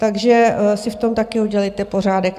Takže si v tom taky udělejte pořádek.